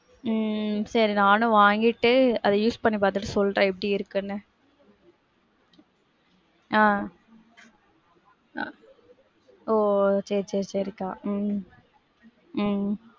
உம் சரி அத நானும் வாங்கிட்டு use பண்ணி பாத்துட்டு சொல்றேன் எப்படி இருக்குன்னு. ஆஹ் ஆஹ் ஒ சரி சரி சரிக்கா. உம் உம்